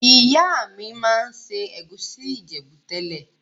Ìyá mi ma n se ègusi Ìjẹ̀bú tẹ́lẹ̀.